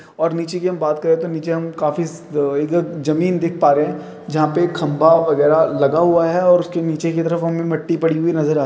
और नीचे की हम बात करे तो निचे हम काफी स-अ-जमीन देख पा रहें हैं जहाँ पे खम्बा वगैरह लगा हुआ है और इसके नीचे की तरफ हमें मिट्टी पड़ी हुई नज़र आ --